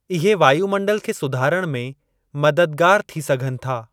इहे वायुमंडल खे सुधारण में मददगारु थी सघनि था।